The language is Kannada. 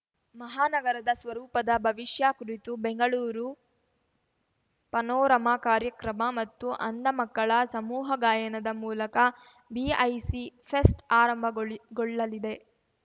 ಮಹಾನಗರದ ಸ್ವರೂಪದ ಭವಿಷ್ಯ ಕುರಿತು ಬೆಂಗಳೂರು ಪನೋರಮಾ ಕಾರ್ಯಕ್ರಮ ಮತ್ತು ಅಂಧ ಮಕ್ಕಳ ಸಮೂಹಗಾಯನದ ಮೂಲಕ ಬಿಐಸಿ ಫೆಸ್ಟ್‌ ಆರಂಭಗೊಳ್ಳಿಗೊಳ್ಳಲಿದೆ